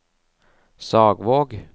Sagvåg